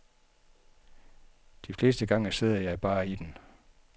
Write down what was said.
De fleste gange sidder jeg bare i den.